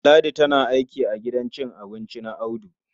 Ladi tana aiki a gidan cin abinci na Audu.